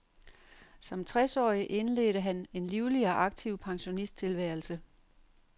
Som tres årig indledte han en livlig og aktiv pensionisttilværelse.